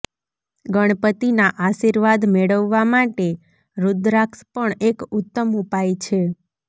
ગણપતિના આશીર્વાદ મેળવવા માટે રુદ્રાક્ષ પણ એક ઉત્તમ ઉપાય છે